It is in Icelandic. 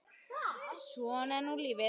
Svona er nú lífið.